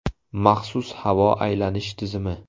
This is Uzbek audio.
Maxsus havo aylanish tizimi.